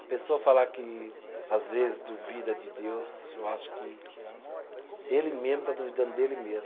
A pessoa falar que às vezes duvida de Deus, eu acho que ele mesmo está duvidando dele mesmo.